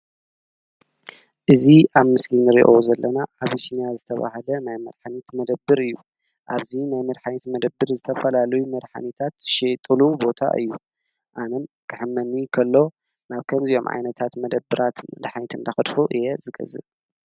እዙ ኣብ ምስሊን ርዮ ዘለና ኣብስናያ ዘተብሃለ ናይ መድኃኒት መደብር እዩ ኣብዙ ናይ መድኃኒት መደብር ዝተፈላሉይ መድኃኒታት ዝሽወጠሉ ቦታ እዩ ኣነም ክሕመኒ ከሎ ናብ ከም ዚኦም ዓይነታት መደብራት መድኃኒት እንዳኽድኩ እየ ዝገዝእ።